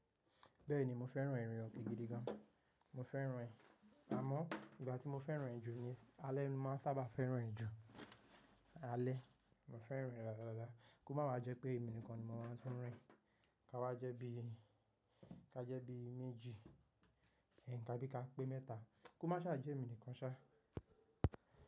Bẹ́ẹ̀ni mo fẹ́ràn ìrìn ọkẹ́ gidi gan. Mo fẹ́ràn ẹ́ àmọ́ ìgbà tí mo fẹ́ràn ẹ́ jù ni alẹ́ ni mo máa ń sáábà fẹ́ràn ẹ́ jù, alẹ́. Mo fẹ́ràn ẹ́ dáadáa, kó máa wa jẹ́ pé èminìkan ni mo máa ń tún rìn. Ká wá jẹ́ bí i, ká jẹ́ bí i méjì, tábi ká pé mẹ́ta. Kó máa sá à jẹ́ èmi nìkan ṣá.